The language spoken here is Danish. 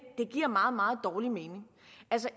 det giver meget meget dårlig mening